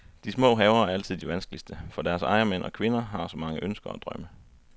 De små haver er altid de vanskeligste, for deres ejermænd og kvinder har så mange ønsker og drømme.